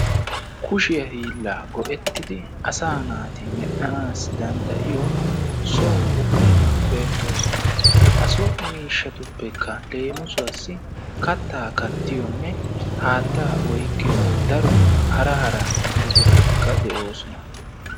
Kushiya hiillaa go'ettidi asaa naati medhdhanaassi danddayiyo so buqurati beettoosona. Ha so miishshatuppekka leemisuwassi kattaa kattiyonne haattaa oyqqiyo daro hara hara buquratikka de'oosona.